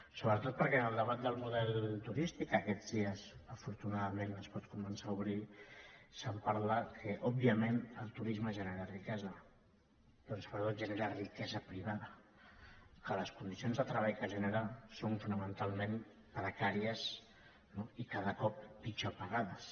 sobretot perquè en el debat del model turístic que aquests dies afortunadament es pot començar a obrir es parla que òbviament el turisme genera riquesa però sobretot genera riquesa privada que les condicions de treball que genera són fonamentalment precàries no i cada cop pitjor pagades